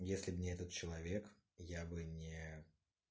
если бы не этот человек я бы не